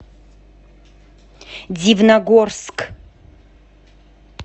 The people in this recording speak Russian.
дивногорск